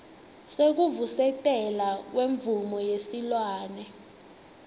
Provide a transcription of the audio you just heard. sekuvusetelwa kwemvumo yesilwane